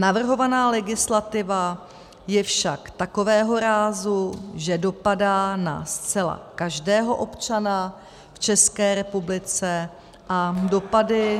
Navrhovaná legislativa je však takového rázu, že dopadá na zcela každého občana v České republice a dopady -